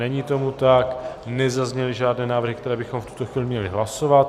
Není tomu tak, nezazněly žádné návrhy, které bychom v tuto chvíli měli hlasovat.